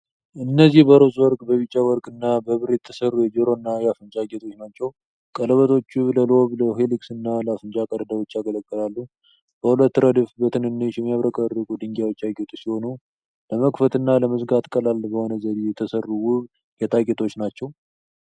እነዚህ በሮዝ ወርቅ፣ በቢጫ ወርቅ እና በብር የተሰሩ የጆሮና የአፍንጫ ጌጦች ናቸው። ቀለበቶቹ ለሎብ፣ ለሄሊክስ እና ለአፍንጫ ቀዳዳዎች ያገለግላሉ። በሁለት ረድፍ በትንንሽ፣ የሚያብረቀርቁ ድንጋዮች ያጌጡ ሲሆኑ ለመክፈትና ለመዝጋት ቀላል በሆነ ዘዴ የተሰሩ ውብ ጌጣጌጦች ናቸው።